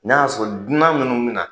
N'a y'a sɔrɔ dunan minnu bi na.